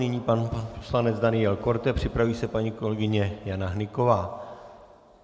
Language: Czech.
Nyní pan poslanec Daniel Korte, připraví se paní kolegyně Jana Hnyková.